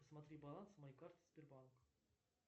посмотри баланс моей карты сбербанк